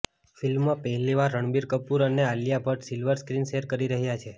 ફિલ્મમાં પહેલી વાર રણબીર કપૂર અને Alia Bhatt silver screen share કરી રહ્યાં છે